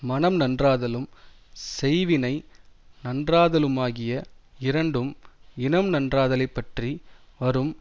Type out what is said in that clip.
மனம் நன்றாதலும் செய்வினை நன்றாதலுமாகிய இரண்டும் இனம் நன்றாதலைப் பற்றி வரும்